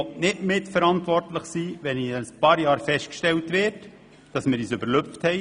Ich möchte nicht mitverantwortlich sein, wenn in ein paar Jahren festgestellt wird, dass wir uns übernommen haben.